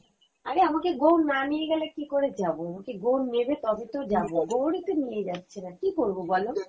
আরে আমাকে গৌড় না নিয়ে গেলে কি করে যাবো, আমাকে গৌড় নেবে তবে তো যাবো, গৌড় ই তো নিয়ে যাচ্ছে না কী করবো বলো